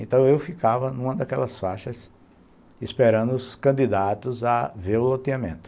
Então, eu ficava numa daquelas faixas esperando os candidatos a ver o loteamento.